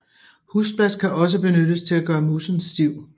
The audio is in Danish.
Husblas kan også benyttes til at gøre moussen stiv